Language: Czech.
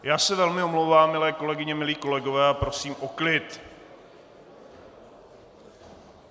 Já se velmi omlouvám, milé kolegyně, milí kolegové, a prosím o klid!